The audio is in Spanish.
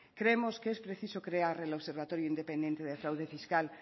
creemos que es preciso crear el observatorio independiente del fraude fiscal